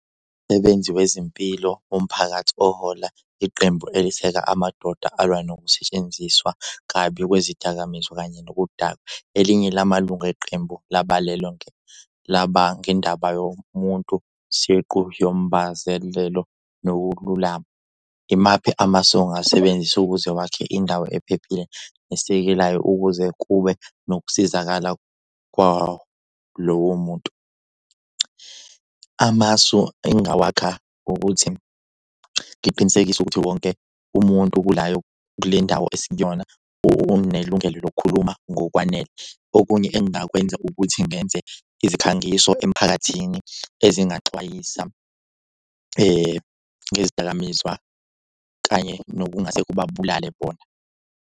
Umsebenzi wezempilo womphakathi ohola iqembu eliseka amadoda alwa nokusetshenziswa kabi kwezidakamizwa kanye nokudakwa. Elinye lamalungu eqembu laba ngendaba yomuntu siqu nokululama. Imaphi amasu ongasebenzisa ukuze wakhe indawo ephephile esekelayo ukuze kube nokusizakala kwalowo muntu? Amasu engingawakha ukuthi ngiqinisekise ukuthi wonke umuntu kulayo kule ndawo esikuyona unelungelo lokukhuluma ngokwanele. Okunye engingakwenza ukuthi ngenze izikhangiso emphakathini ezingaxwayisa ngezidakamizwa kanye nokungase kubabulale bona.